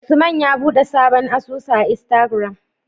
Usman ya buɗe sabon asusu a istagram